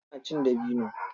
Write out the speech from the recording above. Ina cin dabino.